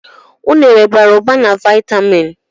Unere bara ụba na viatamịn